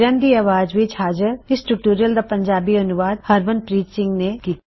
ਕਿਰਨ ਦੀ ਆਵਾਜ਼ ਵਿੱਚ ਹਾਜ਼ਰ ਇਸ ਟਿਊਟੋਰਿਯਲ ਦਾ ਪੰਜਾਬੀ ਅਨੂਵਾਦ ਹਰਮਨਪ੍ਰੀਤ ਸਿੰਘ ਨੇਂ ਕੀਤਾ